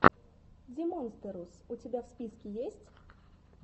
димонстерус у тебя в списке есть